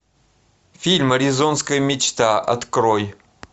фильм аризонская мечта открой